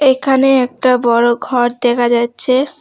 এখানে একটা বড়ো ঘর দেখা যাচ্ছে।